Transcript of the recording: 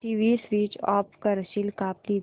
TV switch off करशील का please